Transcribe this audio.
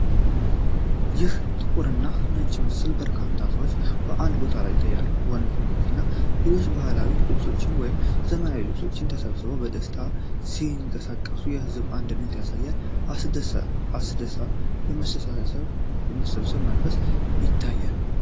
ይህ ጥቁርና ነጭ ምስል በርካታ ሰዎችን በአንድ ቦታ ያሳያል። ወንዶች፣ ሴቶችና ልጆች በባህላዊ ልብሶች ወይም በዘመናዊ ልብሶች ተሰብስበው በደስታ ሲንቀሳቀሱ የሕዝብን አንድነት ያሳያል። አስደሳች የመሰብሰብ መንፈስ ይታያል።